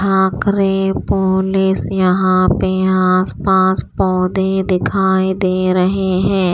Bhakare police यहां पे आस पास पौधे दिखाई दे रहे हैं।